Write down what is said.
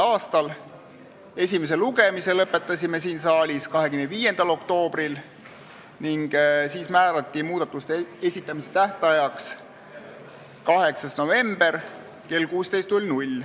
a. Esimese lugemise lõpetasime siin saalis 25. oktoobril ning siis määrati muudatusettepanekute esitamise tähtajaks 8. november kell 16.